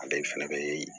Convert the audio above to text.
Ale fɛnɛ be